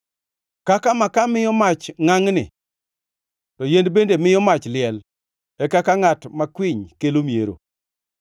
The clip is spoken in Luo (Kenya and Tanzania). Kaka makaa miyo mach ngʼangʼni, to yien bende miyo mach liel, e kaka ngʼat makwiny kelo miero.